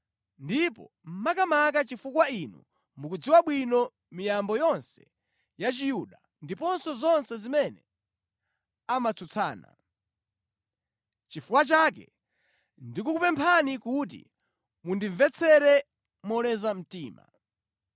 ndipo makamaka chifukwa inu mukudziwa bwino miyambo yonse ya Chiyuda ndiponso zonse zimene amatsutsana. Nʼchifukwa chake ndikukupemphani kuti mundimvetsere moleza mtima.